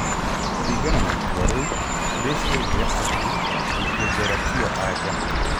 Kũrigana na itua rĩu, Baze yaugire atĩ gũikio njera tiyo anja.